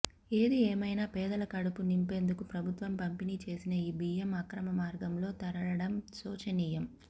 ఏదిఏమైనా పేదల కడుపు నింపేందుకు ప్రభుత్వం పంపిణీ చేసిన ఈ బియ్యం అక్రమ మార్గంలో తరలడం శోచనీయం